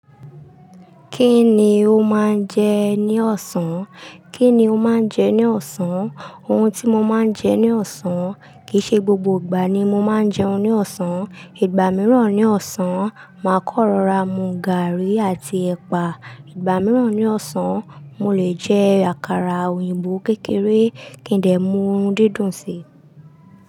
Kí ni o máa ń jẹ ní ọ̀sán? Kí ni o máa ń jẹ ní ọ̀sán? Ohun tí mo máa ń jẹ ní ọ̀sán. Kìí ṣe gbogbo ìgbà ni mo máa ń jẹun ní ọ̀sán. Ìgbà mìíràn ní ọ̀sán, màá kan rọ́ra mu gààrí àti ẹ̀pà. Ìgbà mìíràn ní ọ̀sán, mo lè jẹ àkàrà òyìnbó kékeré kí n dè mú ohun dídùn si.